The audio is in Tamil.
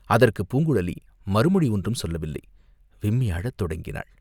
அதற்குப் பூங்குழலி மறுமொழி ஒன்றும் சொல்லவில்லை, விம்மி அழத் தொடங்கினாள்.